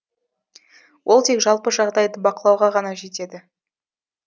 ол тек жалпы жағдайды бақылауға ғана жетеді